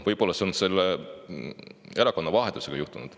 Võib-olla on see erakonnavahetuse tõttu juhtunud.